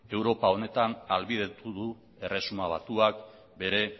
europa honetan ahalbidetu du erresuma batuak bere